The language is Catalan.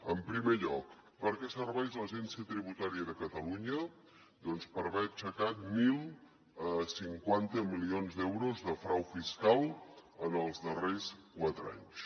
en primer lloc per què serveix a l’agència tributària de catalunya doncs per haver aixecat deu cinquanta milions d’euros de frau fiscal en els darrers quatre anys